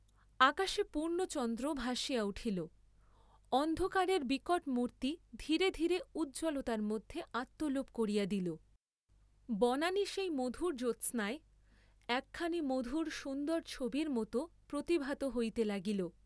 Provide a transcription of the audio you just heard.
আকাশে পূর্ণচন্দ্র ভাসিয়া উঠিল, অন্ধকারের বিকট মুর্ত্তি ধীরে ধীরে উজ্জ্বলতার মধ্যে আত্মলোপ করিয়া দিল; বনানী সেই মধুর জ্যোৎস্নায় একখানি মধুর সুন্দর ছবির মত প্রতিভাত হইতে লাগিল।